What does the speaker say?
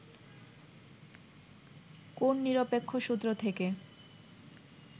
কোন নিরপেক্ষ সূত্র থেকে